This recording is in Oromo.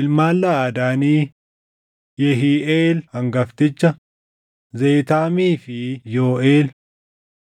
Ilmaan Laʼadaanii: Yehiiʼeel hangafticha, Zeetaamii fi Yooʼeel;